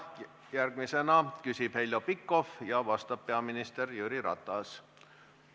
Järgmisena küsib Heljo Pikhof ja vastab peaminister Jüri Ratas.